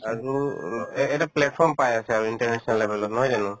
আৰু এ~ এটা platform পাই আছে আৰু international level ত নহয় জানো